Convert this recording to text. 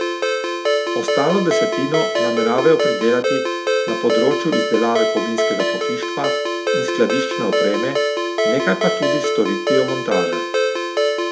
Ostalo desetino nameravajo pridelati na področju izdelave kovinskega pohištva in skladiščne opreme, nekaj pa tudi s storitvijo montaže.